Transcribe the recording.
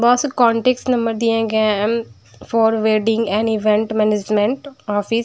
बहुत से contacts number दिए गए for wedding and event management office --